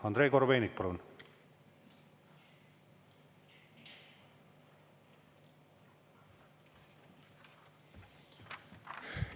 Andrei Korobeinik, palun!